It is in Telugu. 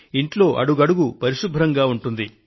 ఇంట్లో అడుగడుగూ పరిశుభ్రంగా ఉంటుంది